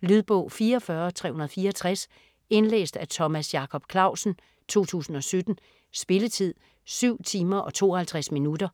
Lydbog 44364 Indlæst af Thomas Jacob Clausen, 2017. Spilletid: 7 timer, 52 minutter.